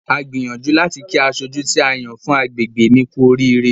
A gbìyànju láti kí asojú tí a yàn fún agbègbè mi kú oríire.